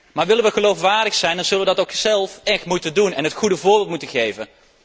Maar willen we geloofwaardig zijn, dan zullen we dat ook zelf echt moeten doen en het goede voorbeeld moeten geven.